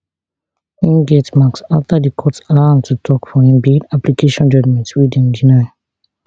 im get marks afta di court allow am to tok for im bail application judgement wey dem deny